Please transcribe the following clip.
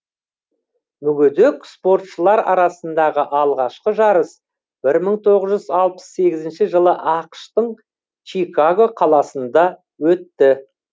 мүгедек спортшылар арасындағы алғашқы жарыс бір мың тоғыз жүз алпыс сегізінші жылы ақш тың чикаго қаласында өтті